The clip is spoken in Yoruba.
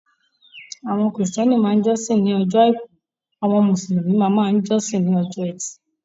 Àwọn kírísítẹ́nì máa ń jọ́sìn ní ọjọ́ àìkú; àwọn Mùsùlùmí máa máa ń jọ́sìn ní ọjọ́ ẹtì.